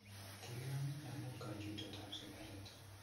Kikinam ine amu kachutet ab sigaret